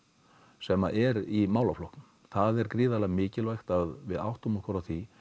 sem er í málaflokknum það er gríðarlega mikilvægt að við áttum okkur á því